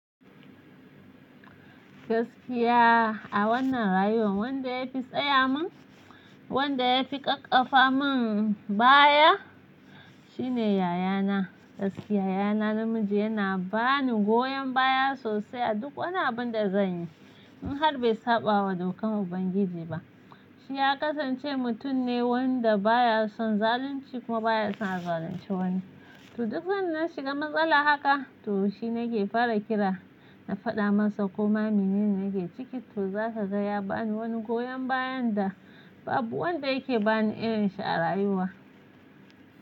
Gaskiya a wannan rayuwar wanda ya fi tsaya min, wanda ya fi ƙaƙƙafa min baya shine yayana. Gaskiya yayana namiji yana bani goyon baya sosai a duk wani abun da zanyi in har bai saɓa wa dokan Ubangiji ba. Shi ya kasance mutum ne wanda baya son zalunci kuma baya son a zalunce wani. To duk zan na shiga matsala haka, to shi nake fara kira. Na faɗa masa koma mine nake ciki to zaka ga ya bani wani goyon bayan da babu wanda yake bani irin shi a rayuwa.